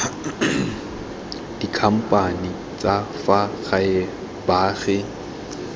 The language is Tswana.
dikhamphane tsa fa gae baagi